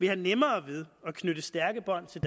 have nemmere ved at knytte stærke bånd til